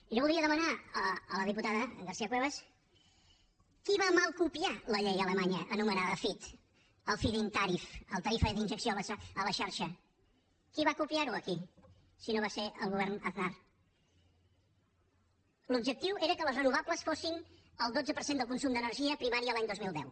jo voldria demanar a la diputada garcia cuevas qui va mal copiar la llei alemanya anomenada fit el feedin tarif la tarifa d’injecció a la xarxa qui va copiar ho aquí si no va ser el govern aznar l’objectiu era que les renovables fossin el dotze per cent del consum d’energia primària l’any dos mil deu